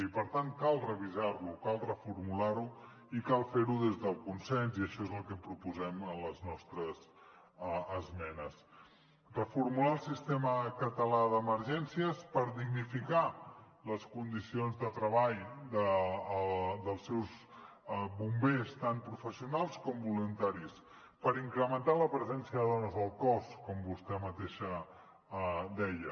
i per tant cal revisar lo cal reformular lo i cal fer ho des del consens i això és el que proposem en les nostres esmenes reformular el sistema català d’emergències per dignificar les condicions de treball dels seus bombers tant professionals com voluntaris per incrementar la presència de dones al cos com vostè mateixa deia